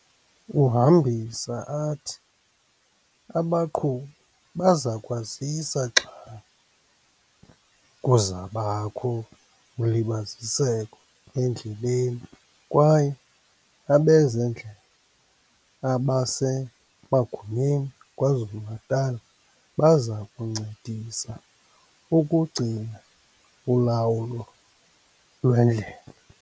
Uhambisa athi abaqhubi bazokwaziswa xa kuzakubakho ulibaziseko endleleni kwaye abezendlela abasemagunyeni KwaZulu-Natal bazakuncedisa ukugcina ulawulo lwendlela.